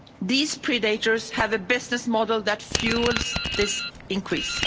These predators have a business model that fuels this increase.